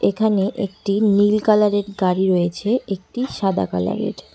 এখানে একটি নীল কালারের গাড়ি রয়েছে একটি সাদা কালারের।